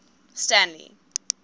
stanley